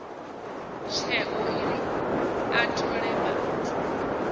tsheo uri a thole muthu